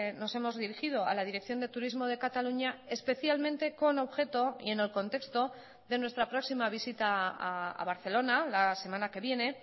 nos hemos dirigido a la dirección de turismo de cataluña especialmente con objeto y en el contexto de nuestra próxima visita a barcelona la semana que viene